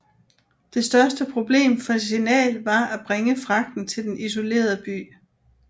Det største problem for Signal var at bringe fragten til den isolerede by